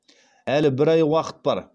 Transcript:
әлі бір ай уақыт бар